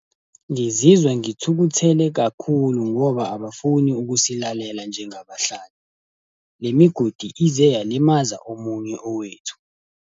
Ngizizwa ngithukuthele kakhulu ngoba abafuni ukusilalela njengabahlali. Le migodi ize yalimaza omunye owethu.